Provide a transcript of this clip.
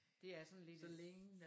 Det er sådan lidt